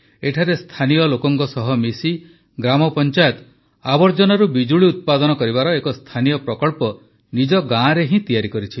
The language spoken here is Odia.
ଏଠାରେ ସ୍ଥାନୀୟ ଲୋକଙ୍କ ସହ ମିଶି ଗ୍ରାମପଂଚାୟତ ଆବର୍ଜନାରୁ ବିଜୁଳି ଉତ୍ପାଦନ କରିବାର ଏକ ସ୍ଥାନୀୟ ପ୍ରକଳ୍ପ ନିଜ ଗାଁରେ ହିଁ ତିଆରି କରିଛି